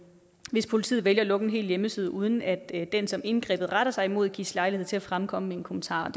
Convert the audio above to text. hvis politiet vælger at lukke en hel hjemmeside uden at den som indgrebet retter sig imod gives lejlighed til at fremkomme med en kommentar